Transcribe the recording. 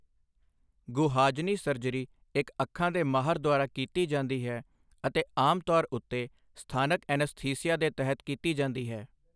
ਗੁਹਾਜਨੀ surgery ਇੱਕ ਅੱਖਾਂ ਦੇ ਮਾਹਰ ਦੁਆਰਾ ਕੀਤੀ ਜਾਂਦੀ ਹੈ, ਅਤੇ ਆਮ ਤੌਰ ਉੱਤੇ ਸਥਾਨਕ ਐਨਸਥੀਸੀਆ ਦੇ ਤਹਿਤ ਕੀਤੀ ਜਾਂਦੀ ਹੈ।